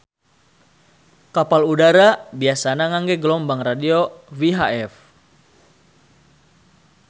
Kapal udara biasana ngangge gelombang radio VHF